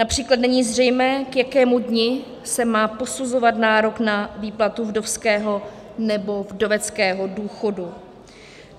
Například není zřejmé, k jakému dni se má posuzoval nárok na výplatu vdovského nebo vdoveckého důchodu.